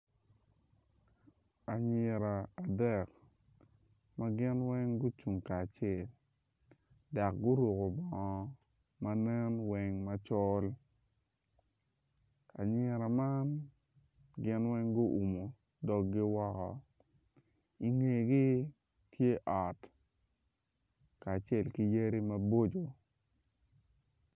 Anyira adek ma gin weng gucung kacel dak guruku bongo ma nen weny macol nyira man gin weny gumudoggi woko i ngegi tye ot kacel ki yadi maboco